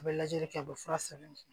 U bɛ lajɛli kɛ u bɛ fura sɛbɛn